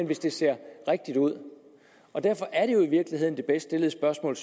hvis det ser rigtigt ud derfor er det jo i virkeligheden det bedst stillede spørgsmål